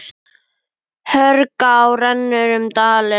Hörgá rennur um dalinn.